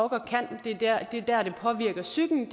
kan det er der det påvirker psyken